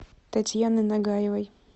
татьяны нагаевой